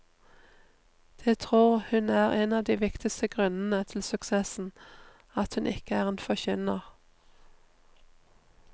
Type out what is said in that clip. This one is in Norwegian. Det tror hun er en av de viktige grunnene til suksessen, at hun ikke er en forkynner.